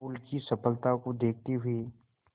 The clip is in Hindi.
अमूल की सफलता को देखते हुए